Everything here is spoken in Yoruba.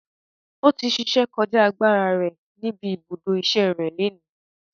Ọtí ṣíṣe kọjá agbára rẹ níbi ibùdó ìṣe rẹ léni.